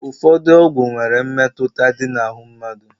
Ụfọdụ ọgwụ nwere mmetụta dị na ahụ mmadụ.